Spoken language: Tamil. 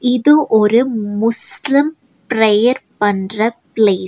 இது ஒரு முஸ்லிம் ப்ரேயர் பண்ற ப்ளேஸ் .